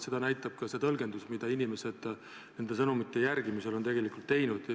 Seda näitab ka see, mida inimesed neid sõnumeid järgides on tegelikult teinud.